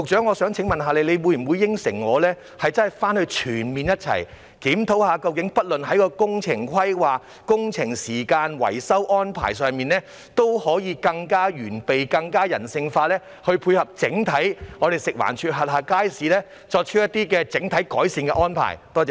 我想請問局長，會否承諾共同全面檢討工程規劃、工程時間和維修安排方面，務求更完備、更人性化地配合食環署轄下街市，以作出整體改善安排。